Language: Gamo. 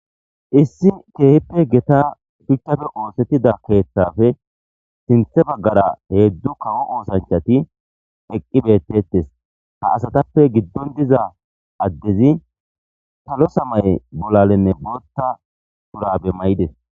Issi keehippe gita shuchafe oosettida keeththafe sinthe baggara hedu kawo oosanchati eqqi bettettes ha asatappe giddon diza addezi talo samay bolalenne bootta purabe mayides